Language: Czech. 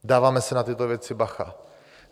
Dáváme si na tyto věci bacha.